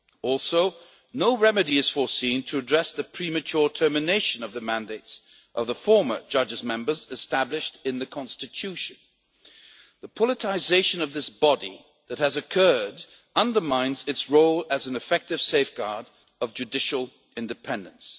Also, no remedy is foreseen to address the premature termination of the mandates of the former judges' members established in the Constitution. The politicisation of this body that has occurred undermines its role as an effective safeguard of judicial independence.